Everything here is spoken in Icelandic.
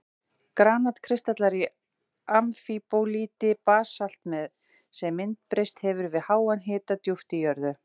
Granat-kristallar í amfíbólíti, basalti sem myndbreyst hefur við háan hita djúpt í jörðu.